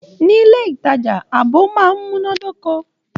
Nilé ìtajà, ààbò máa n munadoko.